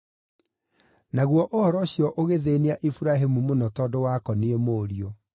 Naguo ũhoro ũcio ũgĩthĩĩnia Iburahĩmu mũno tondũ wakoniĩ mũriũ.